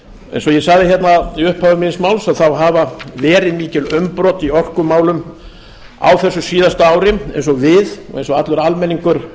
eins og ég sagði í upphafi míns máls hafa verið mikil umbrot í orkumálum á þessu síðasta ári eins og við og eins og allur almenningur